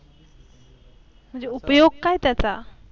म्हणजे उपयोग काय त्याचा